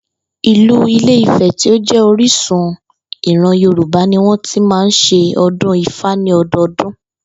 Ìlú Ilé-Ifè̩ tí ó jé̩ orísun ìran Yorùbá ni wó̩n ti máa ń s̩e o̩dún Ifá ní o̩do̩o̩dún